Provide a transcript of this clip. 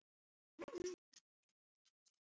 Það var bara eins gott að viðurkenna það strax.